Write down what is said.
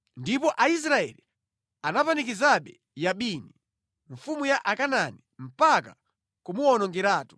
Ndipo Aisraeli anapanikizabe Yabini, mfumu ya Akanaani, mpaka kumuwonongeratu.